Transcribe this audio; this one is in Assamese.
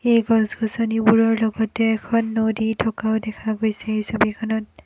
এই গছ-গছনিবোৰৰ লগতে এখন নদী থকাও দেখা গৈছে এই ছবিখনত।